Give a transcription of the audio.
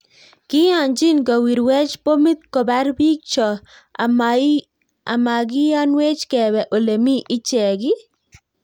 Kiyanchiin kowirwech pomiit kopaar piik choo amagiyanweech kebee olemii icheek iiih?